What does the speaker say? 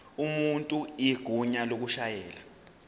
umuntu igunya lokushayela